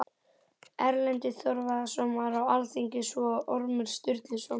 Erlendur Þorvarðarson var á alþingi, svo og Ormur Sturluson.